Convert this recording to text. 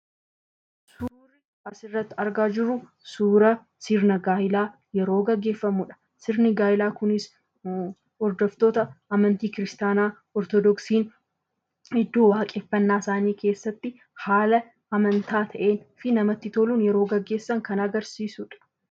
Suurri asirratti argaa jirru suura sirna gaa'eelaa yeroo gaggeeffamudha. Sirni gaa'elaa kunis hordoftoota amantaa kiristaanaa ortodoksiin iddoo waaqeffannaa isaanii keessatti haala amantaa ta'eefi namatti toluun yeroo gaggeessan kan agarsiisudha.